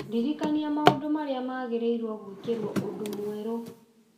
ndirikania maũndũ marĩa magĩrĩirwo gwĩkĩrwo ũndũ mwerũ